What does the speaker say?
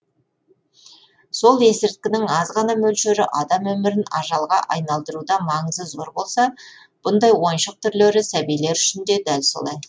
сол есірткінің аз ғана мөлшері адам өмірін ажалға айналдыруда маңызы зор болса бұндай ойыншық түрлері сәбилер үшін де дәл солай